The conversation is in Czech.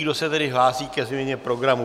Kdo se tedy hlásí ke změně programu?